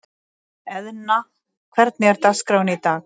Eðna, hvernig er dagskráin í dag?